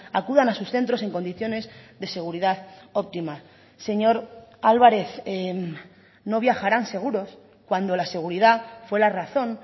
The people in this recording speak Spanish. acudan a sus centros en condiciones de seguridad óptima señor álvarez no viajarán seguros cuando la seguridad fue la razón